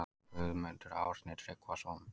Guðmundur Árni Tryggvason